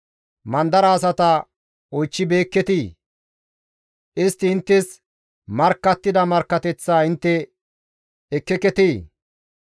Mandara asata oychchibeekketii? Istti inttes markkattida markkateththaa intte ekkeketii?